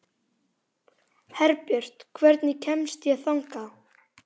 Herbjört, hvernig kemst ég þangað?